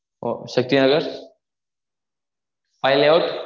ஒ Shakti Nagar high layout